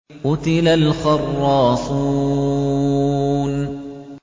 قُتِلَ الْخَرَّاصُونَ